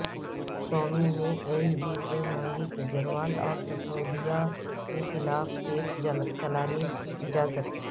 سوامی نے L G سے مانگی کیجریوال اور سسودیا کے خلاف کیس چلانے کی اجازت